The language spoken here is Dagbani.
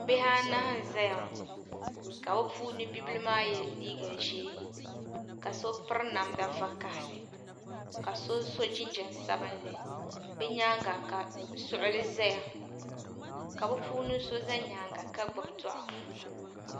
Bihi anahi n zaya ka bɛ puuni bibila maa ye liiga ʒee ka so piri namda vakahali ka so so jinjiɛm sabinli di nyaanga la suɣuli zaya ka bɛ puuni so za nyaanga ka gbibi doɣu.